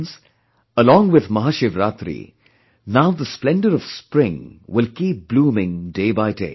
Friends, along with Mahashivaratri, now the splendour of spring will keep blooming day by day